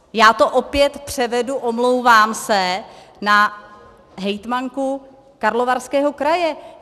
Já to opět převedu, omlouvám se, na hejtmanku Karlovarského kraje.